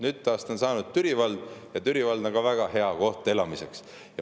Nüüd on sellest saanud Türi vald ja Türi vald on ka väga hea koht elamiseks.